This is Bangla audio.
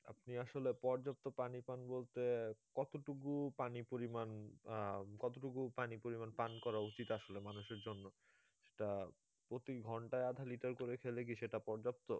আপনি আসলে পর্যাপ্ত পানি পান বলতে কতটুকু পানি পরিমান আহ কতটুকু পানি পরিমান পান করা উচিত আসলে মানুষের জন্য সেটা প্রতি ঘন্টায় আধা লিটার করে খেলে কি সেটা পর্যাপ্ত?